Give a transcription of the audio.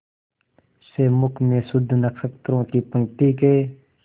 से मुख में शुद्ध नक्षत्रों की पंक्ति के